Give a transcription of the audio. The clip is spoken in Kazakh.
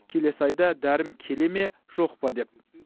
келесі айда дәрім келе ме жоқа па деп